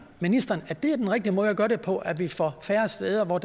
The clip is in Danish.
ministeren at det er den rigtige måde at gøre det på at vi får færre steder